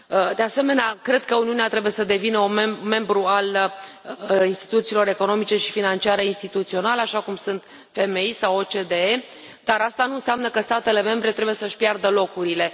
De asemenea, cred că Uniunea trebuie să devină un membru al instituțiilor economice și financiare internaționale, așa cum sunt FMI sau OCDE, dar asta nu înseamnă că statele membre trebuie să și piardă locurile.